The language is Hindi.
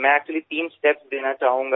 मैं एक्चुअली तीन स्टेप्स देना चाहूँगा